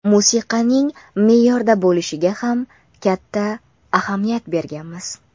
Musiqaning me’yorda bo‘lishiga ham katta ahamiyat berganmiz.